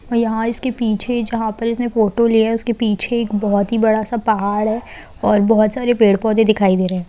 और यहां इसके पीछे जहां इसने फोटो ली है उसके पीछे एक बहुत बड़ा सा पहाड़ है और बहुत सारे पेड़ पौधे दिखाई दे रहे हैं।